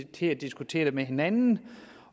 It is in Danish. til at diskutere det med hinanden